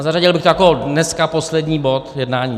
A zařadil bych to jako dnes poslední bod jednání.